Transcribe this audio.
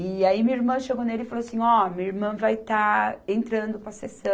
E aí minha irmã chegou nele e falou assim, ó, minha irmã vai estar entrando para a